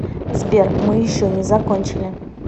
сбер мы еще не закончили